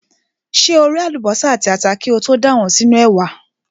Ṣé o ré àlùbọ́sà àti ata kí o tó dà wọ́n sínú ẹ̀wà?